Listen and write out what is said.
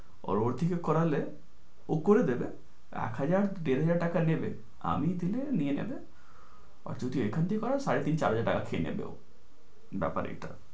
ওকে দিয়ে করালে ও করে দেবে এক হাজার দেড় হাজার টাকা নেবে আমি দেলে নিয়ে নেবে। যদি এখান থেকে পারো সাড়ে তিন চার হাজার টাকা নিয়ে নেবে।